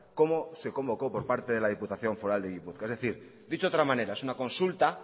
como se convocó por parte de la diputación foral de gipuzkoa es decir dicho de otra manera es una consulta